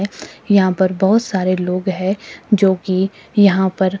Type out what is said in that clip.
यहां पर बहुत सारे लोग है जो कि यहां पर--